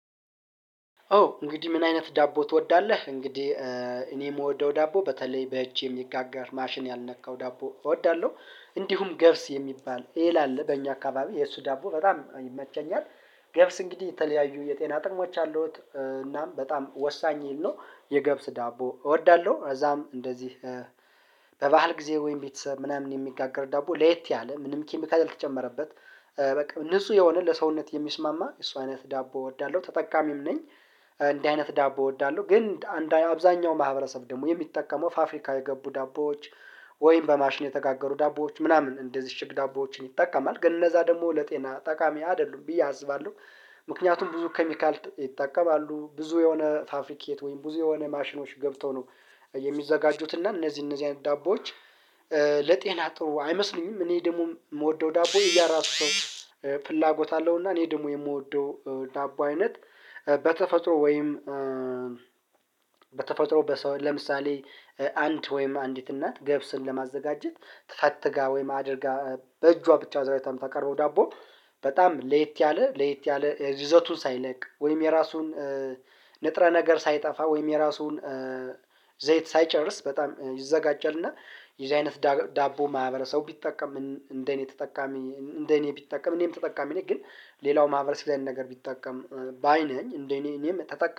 ኦ እንግዲህ ምን አይነት ዳቦ ትወዳለህ? እንግዲህ እኔ የምወደው ዳቦ በተለይ በእጅ ይሚጋጋር ማሽን ያልነካው ዳቦ እወዳለሁ። እንዲሁም ገብስ የሚባል ኤል አለ በእኛ አካባቢ የእሱ ዳቦ በጣም ይመቸኛል። ገብስ እንግዲህ የተለያዩ የጤና ጥሞች አሉት እናም በጣም ወሳኝ እህል ነው የገብስ ዳቦ እወዳለሁ። አዛም እንደዚህ በባህል ጊዜ ወይም ቤተሰብ ምናምን የሚጋገር ዳቦ ለየት ያለ ምንም ኪሚካል አልተጨመረበት በቃ ንጹህ የሆነ ለሰውነት የሚስማማ እሱ አይነት ዳቦ እወዳለሁ ተጠቃሚም ነኝ። እንደዚህ አይነት ዳቦ እወዳለሁ ግን አብዛኛው ማህበረሰብ ደግሞ የሚጠቀመው ፋፍሪካ የገቡ ዳቦዎች ወይም በማሽን የተጋገሩ ዳቦዎች ምናምን እንደዚህ ሽግ ዳቦዎችን ይጠቀማል ግን እነዛ ደግሞ ለጤና ጠቃሚ አይደሉም ብዬ አስባለሁ። ምክንያቱም ብዙ ኬሚካል ይጠቀማሉ ብዙ የሆነ ፋፍሪክየት ወይም ብዙ የሆነ ማሽኖች ገብተው ነው የሚዘጋጁት እና እነዚህ እነዚህ አይነት ዳቦዎች ለጤና ጥሩ አይመስሉኝም። እኔ ደግሞ የምወደው ዳቦ የራሱ ፍላጎት አለው። እና እኔ ደግሞ የምወደው ዳቦ አይነት በተፈጥሮ ወይም በተፈጥሮ ለምሳሌ አንድ ወይም አንዲት እናት ገብስን ለማዘጋጀት ተፈትጋ ወይም አድርጋ በእጇ ብቻ አዘዋይታም ተቀርቦ ዳቦ በጣም ሌት ያለ ለየት ያለ የዘቱን ሳይለቅ ወይም የራሱን ንጥረ ነገር ሳይጠፋ ወይም የራሱን ዘይት ሳይጨርስ በጣም ይዘጋጃልና። የዚህ አይነት ዳቦ ማህበረሰቡ ቢጠቀም እንደኔ ተጠቃሚ እንደኔ ቢጠቀም እኔም ተጠቃሚ እኔ ግን ሌላው ማህበረሰብ ላይ ነን ነገር ቢጠቀም ባይ ነኝ እንደኔ እኔም ተጠቃሚ